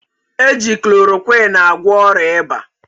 Eji klorokwin agwọ ọrịa ịba